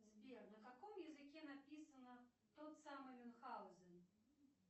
сбер на каком языке написано тот самый мюнхаузен